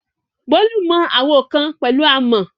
Bolu mọ àwo kan pẹ̀lú àmọ̀.